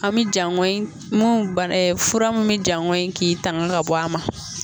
An mi jaɲɔnyi mun ba fura mun bi jaŋɔnyi k'i tanga ka bɔ a ma.